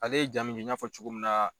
Ale ye jaa mun di n'a fɔ cogo min na